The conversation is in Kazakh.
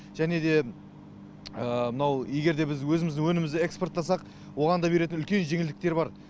және де мынау егер де біз өзіміздің өнімізді экспорттасақ оған да беретін үлкен жеңілдіктер бар